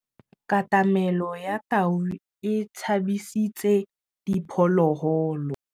Katamêlô ya tau e tshabisitse diphôlôgôlô.